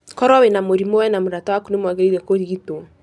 Koro wĩna mũrimũ, we na mũrata waku nĩ mwagĩrĩiro kũrigito.